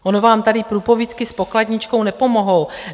Ono vám tady průpovídky s pokladničkou nepomohou.